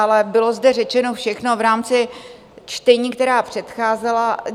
Ale bylo zde řečeno všechno v rámci čtení, která předcházela.